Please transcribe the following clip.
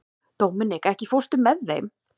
Dominik, ekki fórstu með þeim?